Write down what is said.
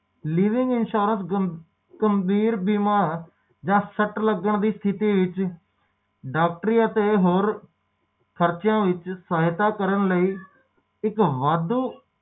ਵਾਪਰ ਸਕਦੇ ਆ ਤੇ ਕਿਸੇ ਨਾਲ ਵੀ ਵਾਪਰ ਸਕਦੀ ਆ ਤੇ